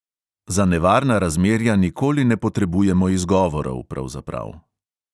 Za nevarna razmerja nikoli ne potrebujemo izgovorov, pravzaprav.